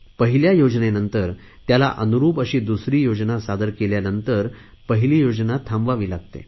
पहिल्या योजनेनंतर त्याला अनुरुप अशी दुसरी योजना सादर केल्यानंतर पहिली योजना थांबवावी लागते